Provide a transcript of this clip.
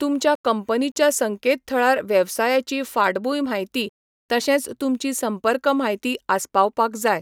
तुमच्या कंपनीच्या संकेतथळार वेवसायाची फाटभूंय म्हायती, तशेंच तुमची संपर्क म्हायती आसपावपाक जाय.